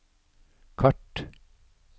kart